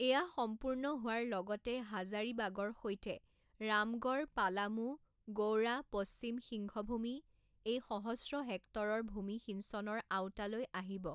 এয়া সম্পূৰ্ণ হোৱাৰ লগতে হাজাৰিবাগৰ সৈতে ৰামগড়, পালামু, গৌড়া, পশ্চিম সিংঘভূমি, এই সহস্ৰ হেক্টৰৰ ভূমি সিঞ্চনৰ আওতালৈ আহিব।